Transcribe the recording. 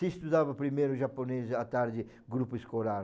Se estudava primeiro japonês, à tarde, grupo escolar.